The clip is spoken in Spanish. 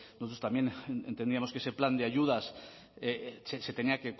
nosotros también entendíamos que ese plan de ayudas se tenía